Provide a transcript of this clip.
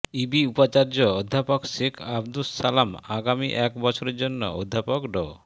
ইবি উপাচার্য অধ্যাপক শেখ আবদুস সালাম আগামী এক বছরের জন্য অধ্যাপক ড